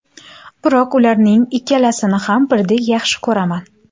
Biroq ularning ikkalasini ham birdek yaxshi ko‘raman.